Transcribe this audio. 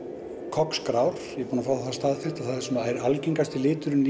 Cox grár ég er búinn að fá það staðfest og það er algengasti liturinn